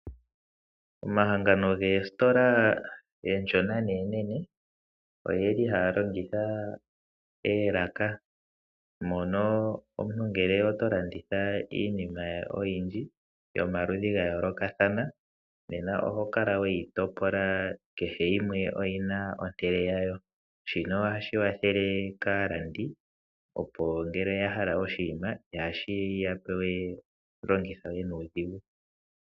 Omahangano goositola oonshona noonene oye li haya longitha oolaka mono omuntu ngele oto landitha iinima oyindji yomaludhi ga yoolokathana kehe yimwe oyi na ehala lyayo ,shino ohashi kwathele kaalandi opo ngele oya hala oshinima ihashi ya longitha we nuudhigu.